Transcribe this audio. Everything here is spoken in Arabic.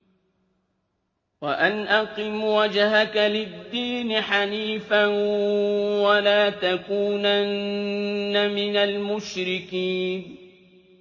وَأَنْ أَقِمْ وَجْهَكَ لِلدِّينِ حَنِيفًا وَلَا تَكُونَنَّ مِنَ الْمُشْرِكِينَ